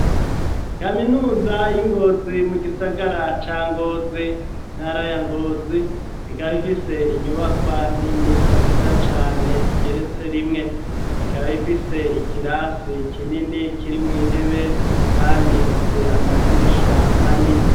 Kaminuza y'Ingozi mu gisagara ca Ngozi mu ntara ya Ngozi, ikaba ifise inyubakwa nini nziza cane igeretse rimwe, ikaba ifise ikirasi kinini kiri mw y'intebe ,kandi ifise amadirisha manini.